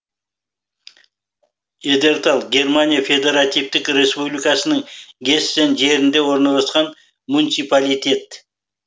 эдерталь германия федеративтік республикасының гессен жерінде орналасқан муниципалитет